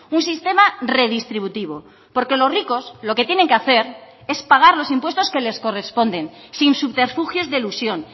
un sistema redistributivo porque los ricos lo que tienen que hacer es pagar los impuestos que les corresponden sin subterfugios de elusión